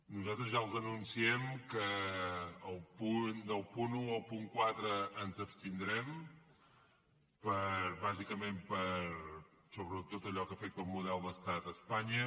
nosaltres ja els anunciem que del punt un al punt quatre ens abstindrem bàsicament per sobretot allò que afecta el model d’estat a espanya